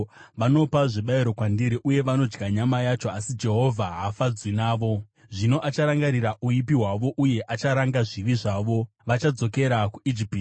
Vanopa zvibayiro kwandiri uye vodya nyama yacho, asi Jehovha haafadzwi navo. Zvino acharangarira uipi hwavo uye acharanga zvivi zvavo: Vachadzokera kuIjipiti.